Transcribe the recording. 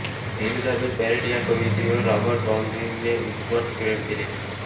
Elizabeth Barrett या कवयित्रीवर Robert ब्राउनिंगने उत्कट प्रेम केले